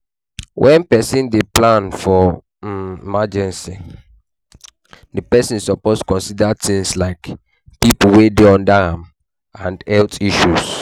When person dey plan for um emergecy, di person suppose consider things like, pipo wey dey under am and health issue